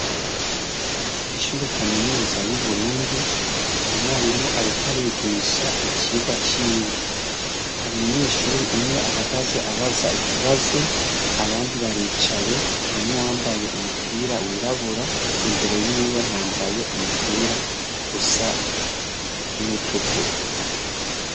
Ishuri kaminuza yu Burundi umwarimu ariko arigisha icirwa ciwe hari umunyeshuri umwe ahagaze abaza ikibazo abandi baricaye harimwo uwambaye umupira wirabura imbere yiwe hambaye umupira usa nuwu tukura.